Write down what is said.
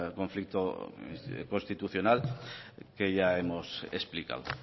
conflicto constitucional que ya hemos explicado